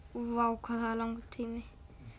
vá hvað það er langur tími